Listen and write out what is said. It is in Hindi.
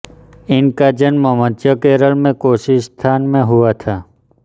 इनका जन्म मध्य केरल के कोच्चिस्थान में हुआ था